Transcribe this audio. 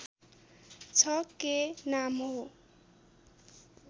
छ के नाम हो